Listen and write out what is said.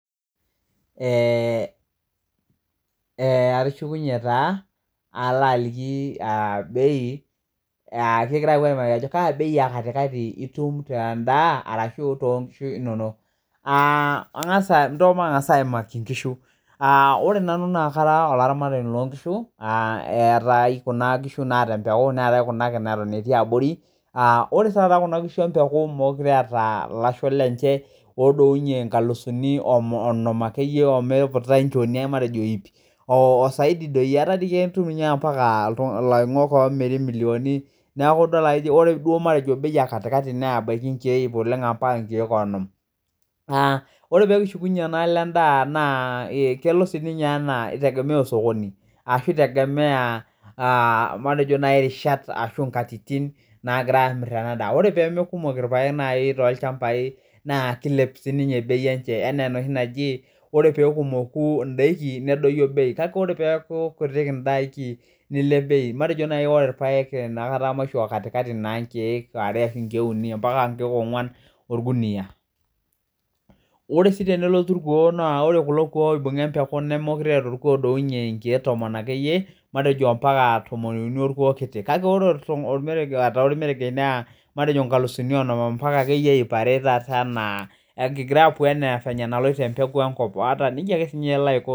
Ee ee atushukunye taa alo aliki bei kingira apuo aimaki ajo kabei ekatikati itum tendaa ashu tonkishu inonok aa angasa ndo matangasa aimaki nkishu ore nanu nakara olaramatani lonkishu etaae kuna kuna naata empeku neetae kuna naati abori ore kuna kishu empeku meetai lasho leye odounye nkalifuni onom akeyie omepuya ip ataa itum ambaka loingok omiri milioni neaku matejo ore bei ekatikati na nkalifuni ip ambaka nkalifuni onom aa ore pelishukinye endaa na itegemea osokoni ashu rishat nagirai amir ena daa ore peaku meetae irpaek na kilep bei enye anaa enaji ore pekumoku ndakin nedoyio beu matejo irpaek maisho katikati nkiek are ambaka uni orkunia ore si tenelotu orkuo ore kuko oibunga empeku meetae olodouye nkiek tomon matejo ambaka nkiek tomon okuni kake ore ormeregesh neraa nkalisumibonom ambaka nkalifuni ip are anaa eneloito embeku enkop.